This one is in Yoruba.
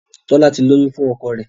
Tola tí lóyún fún ọkọ rẹ.